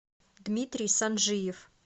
дмитрий санжиев